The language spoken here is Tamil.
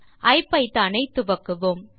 ஐபிதான் இன்டர்பிரிட்டர் ஐ துவக்குவோம்